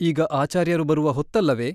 ಈಗ ಆಚಾರ್ಯರು ಬರುವ ಹೊತ್ತಲ್ಲವೆ ?